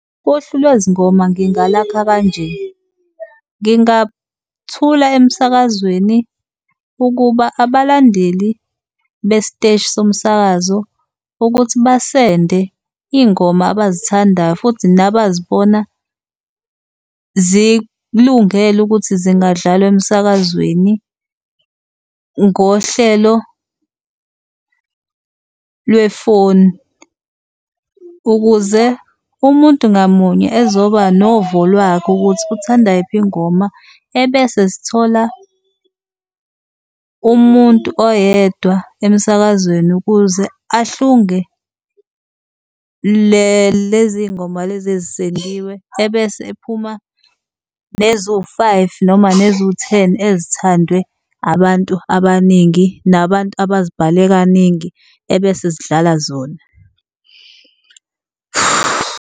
Uhlu lwezingoma ngingalakha kanje, ngingathula emsakazweni ukuba abalandeli besiteshi somsakazo ukuthi ba-send-e iy'ngoma abazithandayo futhi nabazibona zikulungele ukuthi zingadlalwa emsakazweni ngohlelo lwefoni ukuze umuntu ngamunye ezoba novo lwakhe ukuthi uthanda yiphi ingoma. Ebese sithola umuntu oyedwa emsakazweni ukuze ahlunge lezi y'ngoma lezi ezi-send-iwe, ebese ephuma neziwu-five noma eziwu-ten ezithandwe abantu abaningi, nabantu abazibhale kaningi ebese sidlala zona.